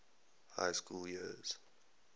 high school years